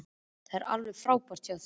Þetta er alveg frábært hjá þér.